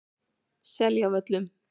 Seljavöllum